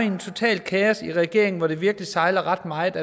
jo er totalt kaos i regeringen hvor det virkelig sejler ret meget